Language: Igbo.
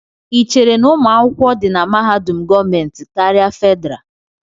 Ị chere na ụmụ akwụkwọ di na mahadum gọọmentị karịa Fedrá?